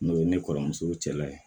N'o ye ne kɔrɔmuso cɛla ye